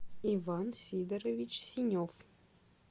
иван сидорович синев